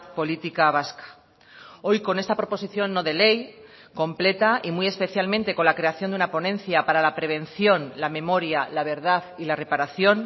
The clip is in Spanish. política vasca hoy con esta proposición no de ley completa y muy especialmente con la creación de una ponencia para la prevención la memoria la verdad y la reparación